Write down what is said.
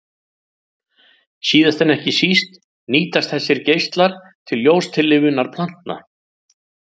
Síðast en ekki síst nýtast þessir geislar til ljóstillífunar plantna.